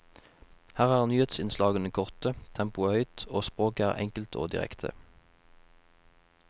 Her er nyhetsinnslagene korte, tempoet høyt, og språket enkelt og direkte.